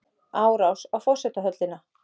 Árás á forsetahöllina